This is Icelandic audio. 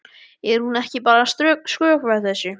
Er hún ekki bara að skrökva þessu?